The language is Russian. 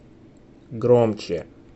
громче